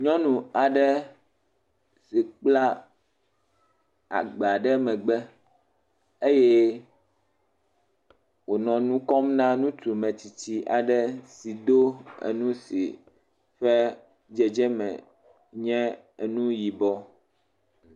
Nyɔnu aɖe si kpla agba ɖe megbe eye wònɔ nu kɔm na ŋutsu metsitsi aɖe si do enu si ƒe dzedzeme nye enu yibɔ.